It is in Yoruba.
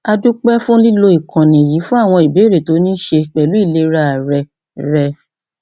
a dúpẹ fún lílo ìkànnì yìí fún àwọn ìbéèrè tó ní í ṣe pẹlú ìlera rẹ rẹ